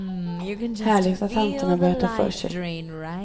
Härligt att tanterna börjar ta för sig.